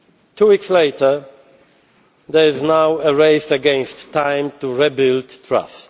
Two weeks later, there is now a race against time to re build trust.